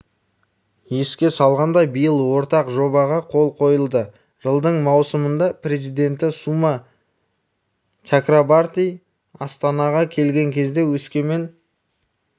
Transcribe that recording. еске салғандай биыл ортақ жобаға қол қойылды жылдың маусымында президенті сума чакрабарти астанаға келген кезде өскемен